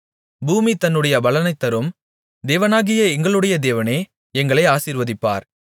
பூமி தன்னுடைய பலனைத் தரும் தேவனாகிய எங்களுடைய தேவனே எங்களை ஆசீர்வதிப்பார்